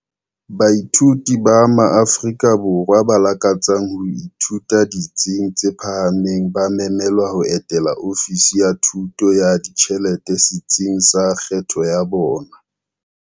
Baithuti ba maAfrika Borwa ba lakatsang ho ithuta ditsing tse phahameng ba memelwa ho etela Ofisi ya Thuso ya Ditjhelete setsing sa kgetho ya bona.